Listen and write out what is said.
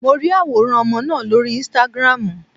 Mo ri àwòrán ọmọ náà lórí Instagram.